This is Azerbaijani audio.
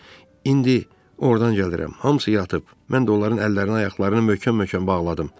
İndi ordan gəlirəm, hamısı yatıb, mən də onların əllərini, ayaqlarını möhkəm-möhkəm bağladım.